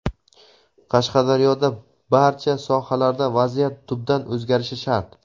Qashqadaryoda barcha sohalarda vaziyat tubdan o‘zgarishi shart.